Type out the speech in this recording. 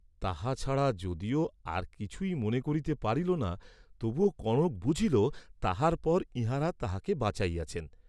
তাহা ছাড়া যদিও আর কিছুই মনে করিতে পারিল না তবুও কনক বুঝিল তাহার পর ইহাঁরা তাহাকে বাঁচাইয়াছেন।